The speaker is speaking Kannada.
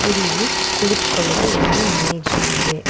ಇಲ್ಲಿ ಕುಳಿತುಕೊಳ್ಳಲು ಒಂದು ಮೇಜು ಇದೆ.